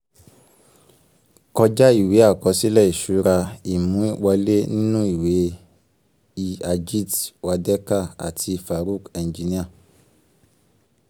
kọjá ìwé àkọsílẹ̀ ìṣúra imú wọlé nínú ìwé e ajit wadekar àti farook engineer